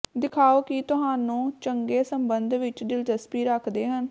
ਦਿਖਾਓ ਕਿ ਤੁਹਾਨੂੰ ਚੰਗੇ ਸਬੰਧ ਵਿੱਚ ਦਿਲਚਸਪੀ ਰੱਖਦੇ ਹਨ